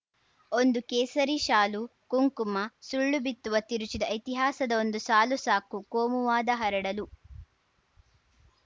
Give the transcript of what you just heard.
ಒಂದು ಕೇಸರಿ ಶಾಲು ಕುಂಕುಮ ಸುಳ್ಳು ಬಿತ್ತುವ ತಿರುಚಿದ ಇತಿಹಾಸದ ಒಂದು ಸಾಲು ಸಾಕುಕೋಮುವಾದ ಹರಡಲು